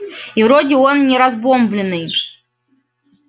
и вроде он не разбомблённый